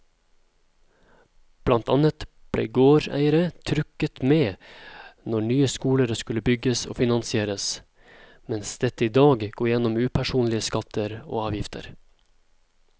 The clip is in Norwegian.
Blant annet ble gårdeierne trukket med når nye skoler skulle bygges og finansieres, mens dette i dag går gjennom upersonlige skatter og avgifter.